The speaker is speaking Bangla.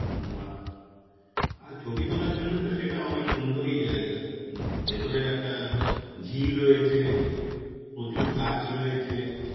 হম বাহ্, আর ছবি তোলার জন্যে তো সেটা অনেক সুন্দরই জায়গা. হম ভিতরে একটা ঝিল রয়েছে. প্রচুর গাছ রয়েছে.